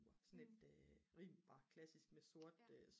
sådan et rimelig bare klassisk med sort